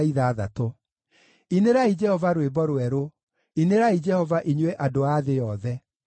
Inĩrai Jehova rwĩmbo rwerũ; inĩrai Jehova, inyuĩ andũ a thĩ yothe.